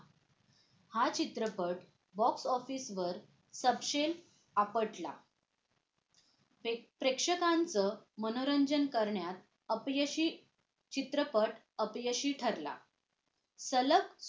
हा चित्रपट box office वर सबशेल आपटला प्रेक्षकांचं मनोरंजन करण्यात अपयशी चित्रपट अपयशी ठरला सलग